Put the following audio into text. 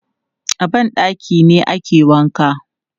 A ban ɗaki ne ake wanka.